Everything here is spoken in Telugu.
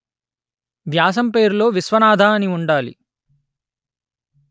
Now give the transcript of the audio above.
వ్యాసం పేరులో విశ్వనాథ అని ఉండాలి